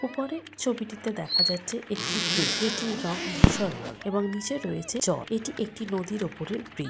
উপরে ছবিটিতে দেখা যাচ্ছে একটি ব্রিজ যেটির রঙ ধূসর রং এবং নিচে রয়েছে চর এটি একটি নদীর উপরের ব্রিজ ।